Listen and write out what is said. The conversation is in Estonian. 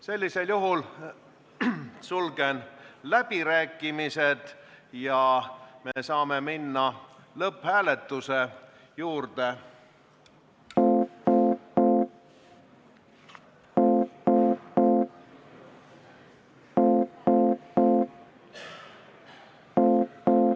Sellisel juhul sulgen läbirääkimised ja me saame minna lõpphääletuse juurde.